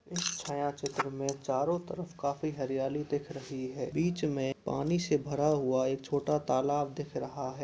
इस छायाचित्र में चारों तरफ काफी हरियाली दिख रही है बीच में पानी से भरा हुआ एक छोटा तालाब दिख रहा --